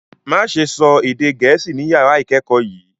Má ṣe sọ èdè gẹ̀ẹ́sì ni yàrá ìkẹ́kọ̀ọ́ yìí